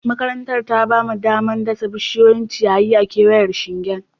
Makarantar ta ba mu damar dasa bishiyoyin ciyayi a kewayen shingen